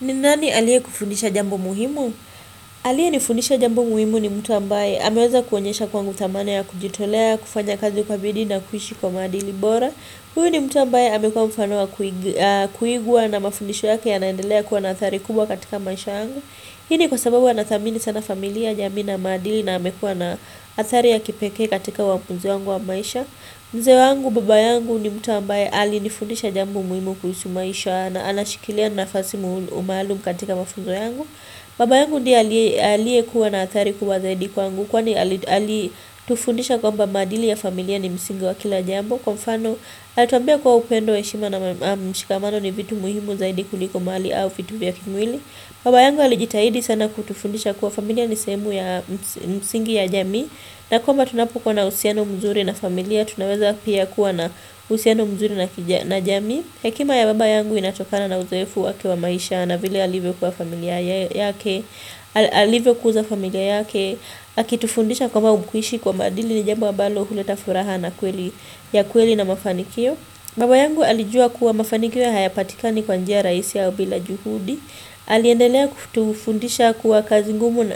Ni nani aliye kufundisha jambo muhimu? Aliye nifundisha jambo muhimu ni mtu ambaye ameweza kuonyesha kwangu thamani ya kujitolea, kufanya kazi kwa bidii na kuishi kwa maadili bora Huyo ni mtu ambaye amekuwa mfano wa kuigwa na mafundisho yake yanaendelea kuwa na athari kubwa katika maisha yangu Hii ni kwa sababu anathamini sana familia jamii na maadili na amekuwa na athari ya kipekee katika uamuzi wangu wa maisha mzee wangu baba yangu ni mtu ambaye ali nifundisha jambo muhimu kuhusu maisha na anashikilia nafasi umaluum katika mafunzo yangu Baba yangu diye alie kuwa na athari kuwa zaidi kwangu kwani alitufundisha kwamba maadili ya familia ni msingi wa kila jambo Kwa mfano alituambia kuwa upendo heshima na mshikamano ni vitu muhimu zaidi kuliko mali au vitu vya kimwili Baba yangu alijitahidi sana kutufundisha kuwa familia ni sehemu ya msingi ya jamii na kwamba tunapo kua na uhusiano mzuri na familia, tunaweza pia kuwa na uhusiano mzuri na jamii Hekima ya baba yangu inatokana na uzoefu wake wa maisha na vile alivyo kuza familia yake. Akitufundisha kwamba kuishi kwa maadili ni jambo ambalo huleta furaha ya kweli na mafanikio. Baba yangu alijua kuwa mafanikio hayapatikani kwa njia raisi au bila juhudi. Aliendelea kutufundisha kuwa kazi ngumu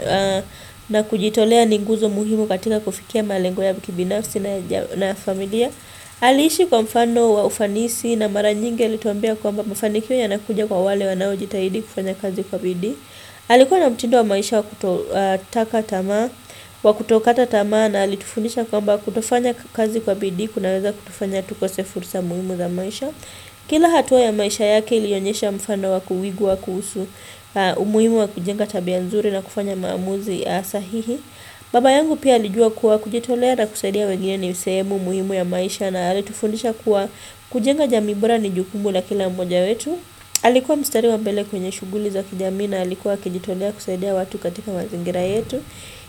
na kujitolea ni nguzo muhimu katika kufikia malengo ya mtu binafsi na ya familia Alishi kwa mfano wa ufanisi na mara nyingi alituambia kwamba mafanikio yanakuja kwa wale wanao jitahidi kufanya kazi kwa bidii Alikuwa na mtindo wa maisha wa kutokata tamaa na alitufundisha kwamba kutofanya kazi kwa bidii kunaweza kutufanya tukose fursa muhimu za maisha Kila hatua ya maisha yake ilionyesha mfano wa kuwigwa kuhusu umuhimu wa kujenga tabia nzuri na kufanya maamuzi asahihi Baba yangu pia alijua kuwa kujitolea na kusaidia wengine ni sehemu muhimu ya maisha na alitufundisha kuwa kujenga jamii bora ni jukumbu la kila mmoja wetu Alikuwa mstari wa mbele kwenye shuguli za kijamii na alikuwa akijitolea kusaidia watu katika mazingira yetu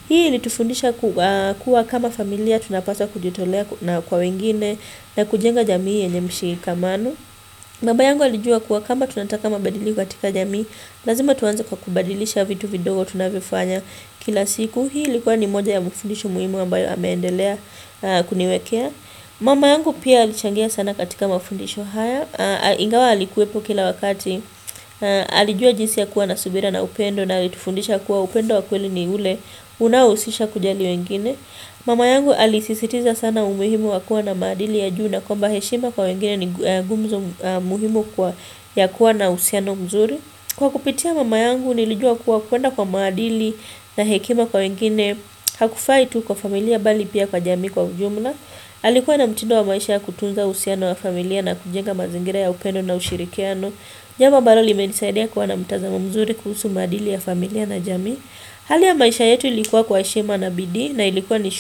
Hii ilitufundisha kuwa kama familia tunapasa kujitolea na kwa wengine na kujenga jamii yenye mshirikamano Baba yangu alijua kuwa kama tunataka mabadiliko katika jamii, lazima tuanze kwa kubadilisha vitu vidogo tunavyofanya kila siku Hii ilikuwa ni moja ya mafundisho muhimu ambayo ameendelea kuniwekea Mama yangu pia alichangia sana katika mafundisho haya. Ingawa alikuwepo kila wakati Alijua jinsi ya kuwa na subira na upendo na alitufundisha kuwa upendo wa kweli ni ule unausisha kujali wengine Mama yangu alisisitiza sana umuhimu wa kua na maadili ya juu na kwamba heshima kwa wengine ni gumzo muhimu kwa ya kuwa na uhusiano mzuri Kwa kupitia mama yangu nilijua kuwa kwenda kwa maadili na hekima kwa wengine Hakufai tu kwa familia bali pia kwa jamii kwa ujumla Alikuwa na mtindo wa maisha ya kutunza uhusiano na familia na kujenga mazingira ya upendo na ushirikiano Jambo ambalo limenisaidia kuwa na mtazamo mzuri kuhusu maadili ya familia na jamii Hali ya maisha yetu ilikuwa kwa heshima na bidii na ilikuwa ni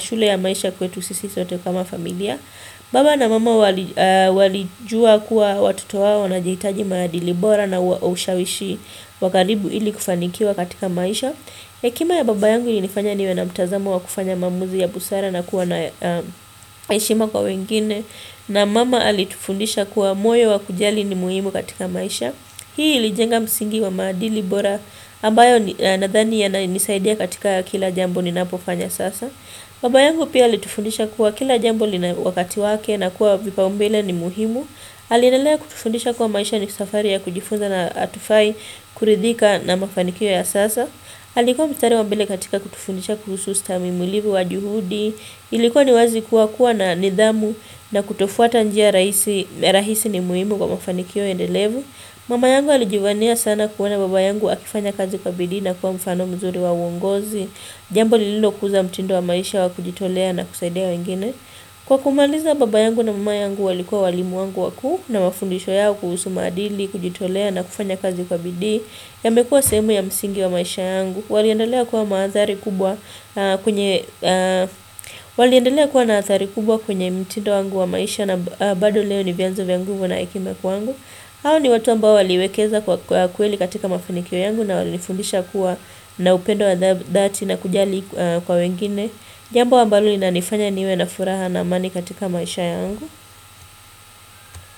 shule ya maisha kwetu sisi sote kama familia Baba na mama walijua kuwa watoto wao wanaitaji maadili bora na ushawishi wa karibu ili kufanikiwa katika maisha Hekima ya baba yangu ilinifanya niwe na mtazamo wa kufanya maamuzi ya busara na kuwa na heshima kwa wengine na mama alitufundisha kuwa moyo wa kujali ni muhimu katika maisha Hii ilijenga msingi wa maadili bora ambayo nadhani yana nisaidia katika kila jambo ninapofanya sasa Baba yangu pia alitufundisha kuwa kila jambo lina wakati wake na kuwa vipaumbele ni muhimu Aliendelea kutufundisha kuwa maisha ni safari ya kujifunza na atufai kuridhika na mafanikio ya sasa Alikuwa mstari wa mbele katika kutufundisha kuhusu ustamimulivu wa juhudi Ilikuwa ni wazi kuwa kuwa na nidhamu na kutofuata njia rahisi ni muimu kwa mafanikio endelevu Mama yangu alijivania sana kuona baba yangu akifanya kazi kwa bidii na kuwa mfano mzuri wa uongozi Jambo lililo kuza mtindo wa maisha wa kujitolea na kusaidia wengine Kwa kumaliza baba yangu na mama yangu walikuwa walimu wangu wakuu na mafundisho yao kuhusu madili, kujitolea na kufanya kazi kwa bidii yamekua sehemu ya msingi wa maisha yangu Waliendelea kuwa maathari kubwa kwenye Waliendelea kuwa na athari kubwa kwenye mtido wangu wa maisha na bado leo ni vyanzo vya nguvu na hekima kwangu hao ni watu ambao waliwekeza kwa kweli katika mafinikio yangu na walinifundisha kuwa na upendo wa dhati na kujali kwa wengine Jambo ambalo linanifanya niwe na furaha na amani katika maisha yangu.